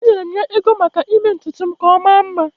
Enyere m ya ego maka ime ntutu m ka ọ maa mma.